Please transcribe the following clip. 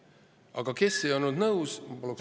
Aga kes ei olnud nõus?